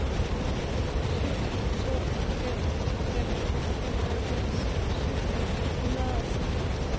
syv to fem fem femoghalvfems syv hundrede og ti